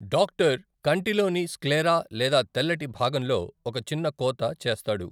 Doctor కంటిలోని sclera లేదా తెల్లటి భాగంలో ఒక చిన్న కోత చేస్తాడు.